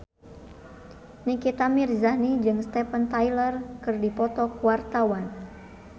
Nikita Mirzani jeung Steven Tyler keur dipoto ku wartawan